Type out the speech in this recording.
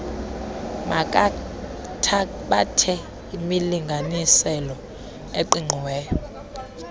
makathabathe imilinganiselo eqiqiweyo